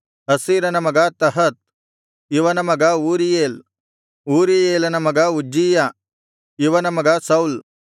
ಅಸ್ಸೀರನ ಮಗ ತಹತ್ ಇವನ ಮಗ ಊರೀಯೇಲ್ ಊರೀಯೇಲನ ಮಗ ಉಜ್ಜೀಯ ಇವನ ಮಗ ಸೌಲ್